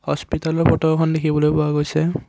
হস্পিতলৰ photo এখন দেখিবলৈ পোৱা গৈছে।